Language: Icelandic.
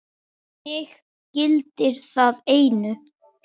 Mig gildir það einu.